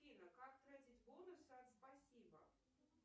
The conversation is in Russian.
афина как тратить бонусы от спасибо